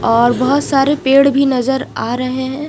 और बहुत सारे पेड़ भी नजर आ रहे है।